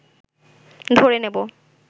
ধরে নেব